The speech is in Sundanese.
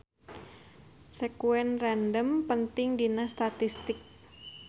Sekuen random penting dina statistik.